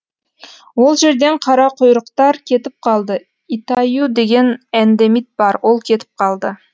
ол жерден қарақұйрықтар кетіп қалды итаю деген эндемит бар ол кетіп қалды